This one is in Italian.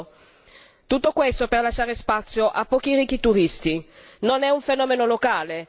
Non è un fenomeno locale, non è una vicenda africana è un fatto che ci riguarda da vicino.